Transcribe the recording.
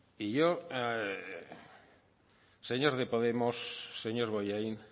y yo señor de podemos señor bollain